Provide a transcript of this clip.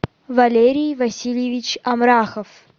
валерий васильевич амрахов